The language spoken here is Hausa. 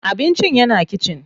Abincin yana kitchen.